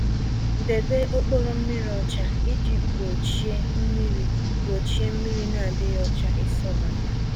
Debe okporo mmiri ọcha iji gbochie mmiri gbochie mmiri n'adịghị ọcha isọbata